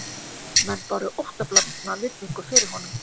Menn báru óttablandna virðingu fyrir honum